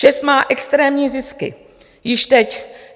ČEZ má extrémní zisky již teď.